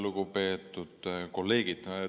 Lugupeetud kolleegid!